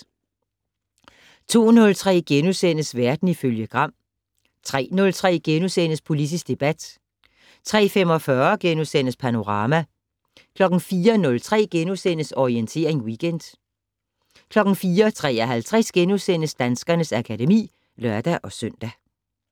02:03: Verden ifølge Gram * 03:03: Politisk debat * 03:45: Panorama * 04:03: Orientering Weekend * 04:53: Danskernes akademi *(lør-søn)